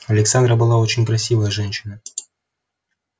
александра была очень красивая женщина